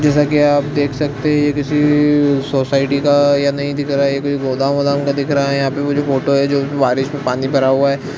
जैसा की आप देख सकते है किसी अ... सोसाइटी का या नई दिख रहा है कोई गोदाम वोदाम का दिख रहा हैयहाँ पे मुझे फोटो है जो बारिश में पानी भरा हुआ है।